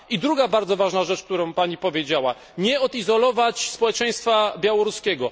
I druga bardzo ważna rzecz, którą Pani powiedziała nie odizolować społeczeństwa białoruskiego.